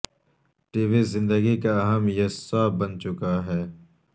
T V زندگی کا اہم یصہ بن چکا ہے